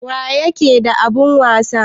Wa ƴaƙe da abun wasa?